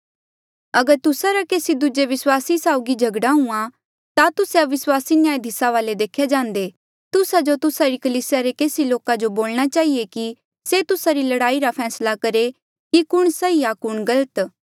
अगर तुस्सा रा केसी दूजे विस्वासी साउगी झगड़ा हुंहां ता तुस्से अविस्वासी न्यायधीस वाले देख्या जांदे तुस्सा जो तुस्सा री कलीसिया रे केसी लोका जो बोलणा चहिए कि से तुस्सा री लड़ाई रा फैसला करहे कि कुण सही आ कुण गलत